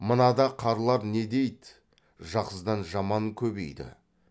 мына да қарлар не дейді жақсыдан жаман көбейді